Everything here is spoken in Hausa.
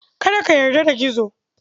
Kada ka yarda da Gizo.